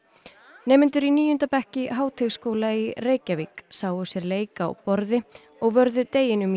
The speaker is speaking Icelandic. nemendur í níunda bekk í Háteigsskóla í Reykjavík sáu sér leik á borði og vörðu deginum í